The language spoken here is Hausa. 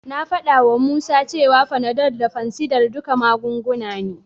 Na faɗawa Musa cewa Panadol da fansidar duka magunguna ne.